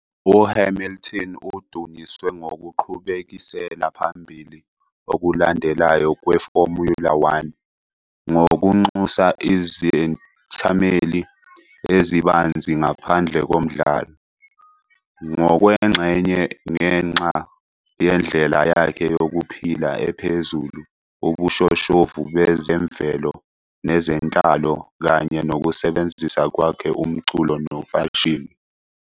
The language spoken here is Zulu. UHamilton udunyiswe ngokuqhubekisela phambili okulandelayo kweFormula One ngokunxusa izethameli ezibanzi ngaphandle komdlalo, ngokwengxenye ngenxa yendlela yakhe yokuphila ephezulu, ubushoshovu bezemvelo nezenhlalo, kanye nokusebenzisa kwakhe umculo nomfashini.